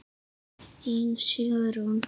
Þín Sigrún.